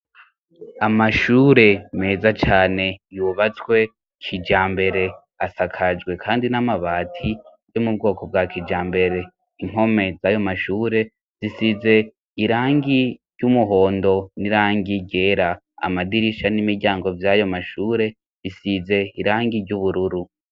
Amashure meza cane yubatswe kija mbere asakajwe, kandi n'amabati yo mu bwoko bwa kijambere inkome z'ayo mashure zisize irangi ry'umuhondo n'irangi gera amadirisha n'imiryango vy'ayo mashure risize irangi ry'uburoe uru.